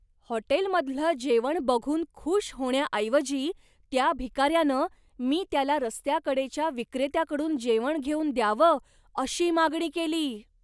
हॉटेलमधलं जेवण बघून खुश होण्याऐवजी त्या भिकाऱ्यानं, मी त्याला रस्त्याकडेच्या विक्रेत्याकडून जेवण घेऊन द्यावंअशी मागणी केली!